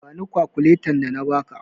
Bani kakuletan da na ba ka!